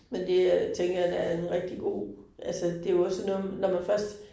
Men det øh tænker jeg da er en rigtig god. Altså det jo også sådan noget med når man først